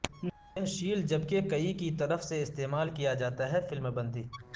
یہ شیل جبکہ کئی کی طرف سے استعمال کیا جاتا ہے فلم بندی